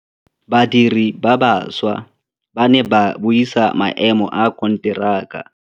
Badiri ba baša ba ne ba buisa maêmô a konteraka.